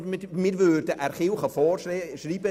Das wollte ich auch sagen.